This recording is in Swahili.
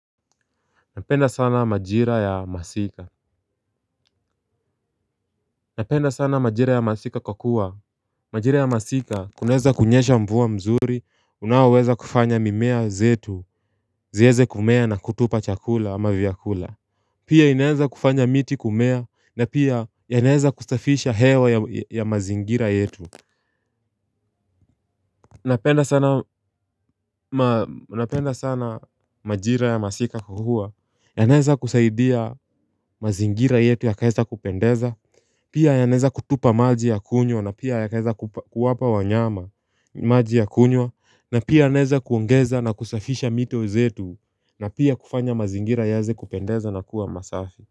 Napenda sana majira ya masika. Napenda sana majira ya masika kwakua majira ya masika kunaweza kunyesha mvua mzuri. Unaoweza kufanya mimea zetu ziweze kumea na kutupa chakula ama vyakula. Pia inaweza kufanya miti kumea. Na pia ya yanaweza kustafisha hewa ya mazingira yetu. Napenda sana majira ya masika kukua. Yanaweza kusaidia mazingira yetu ya kaesta kupendeza. Pia ya yanaweza kutupa maji ya kunywa na pia yakaweza kuwapa wanyama maji ya kunywa na pia ya naweza kuongeza na kusafisha mito zetu na pia kufanya mazingira yaanze kupendeza na kuwa masafi.